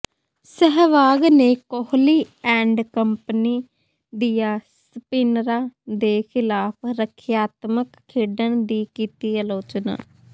ਸਹਿਵਾਗ ਨੇ Kohli and company ਦੀਆਂ ਸਪਿਨਰਾਂ ਦੇ ਖਿਲਾਫ ਰਖਿਆਤਮਕ ਖੇਡਣ ਦੀ ਕੀਤੀ ਆਲੋਚਨਾ